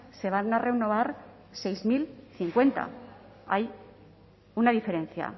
se van a renovar seis mil cincuenta hay una diferencia